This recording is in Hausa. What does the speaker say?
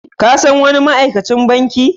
Ka san wani ma'aikacin banki?